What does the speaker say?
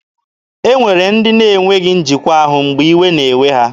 E nwere ndị na-enweghị njikwa ahụ mgbe iwe na-ewe ha.